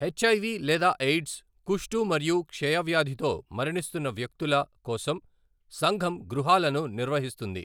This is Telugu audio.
హెచ్ఐవి లేదా ఎయిడ్స్, కుష్టు మరియు క్షయవ్యాధితో మరణిస్తున్న వ్యక్తుల కోసం సంఘం గృహాలను నిర్వహిస్తుంది.